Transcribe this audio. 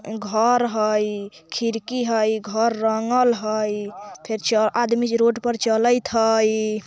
घर हई खिड़की हई घर रंगल हई फेर आदमी रोड पर चलत हई।